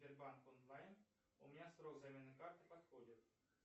сбербанк онлайн у меня срок замены карты подходит